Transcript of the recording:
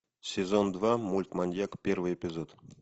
сезон два мульт маньяк первый эпизод